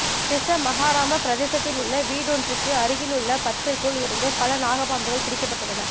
திஸ்ஸமஹாராம பிரதேசத்திலுள்ள வீடொன்றுக்கு அருகிலுள்ள பற்றைக்குள் இருந்து பல நாகப்பாம்புகள் பிடிக்கப்பட்டுள்ளன